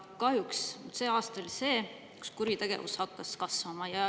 Kahjuks on see aasta hakanud kuritegevus kasvama.